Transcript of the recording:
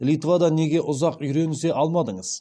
литвада неге ұзақ үйренісе алмадыңыз